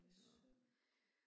Det synd